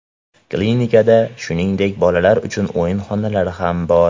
Klinikada, shuningdek, bolalar uchun o‘yin xonalari ham bor.